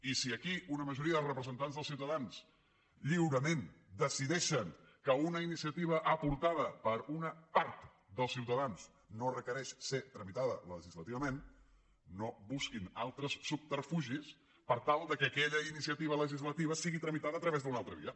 i si aquí una majoria dels representants dels ciutadans lliurement decideixen que una iniciativa aportada per una part dels ciutadans no requereix ser tramitada legislativament no busquin altres subterfugis per tal que aquella iniciativa legislativa sigui tramitada a través d’una altra via